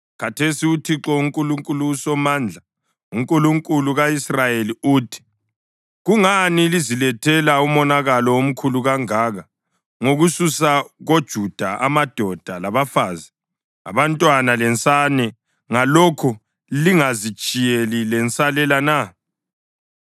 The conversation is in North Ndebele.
Khathesi uThixo uNkulunkulu uSomandla, uNkulunkulu ka-Israyeli, uthi: Kungani lizilethela umonakalo omkhulu kangaka ngokususa koJuda amadoda labafazi, abantwana lensane, ngalokho lingazitshiyeli lensalela na?